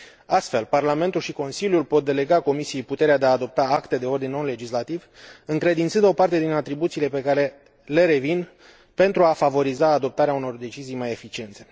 Astfel, Parlamentul și Consiliul pot delega Comisiei puterea de a adopta acte de ordin nelegislativ, încredințând o parte din atribuțiile care le revin, pentru a favoriza adoptarea unor decizii mai eficiente.